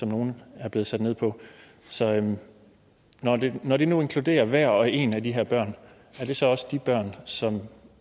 nogle er blevet sat ned på så når det når det nu inkluderer hver og en af de her børn er det så også dem som